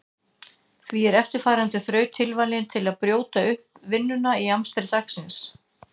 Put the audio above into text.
Því er eftirfarandi þraut tilvalin til að brjóta upp vinnuna í amstri dagsins.